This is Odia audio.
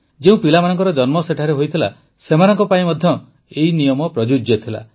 ଯେଉଁ ପିଲାମାନଙ୍କର ଜନ୍ମ ସେଠାରେ ହୋଇଥିଲା ସେମାନଙ୍କ ପାଇଁ ମଧ୍ୟ ଏହି ନିୟମ ପ୍ରଯୁଜ୍ୟ ଥିଲା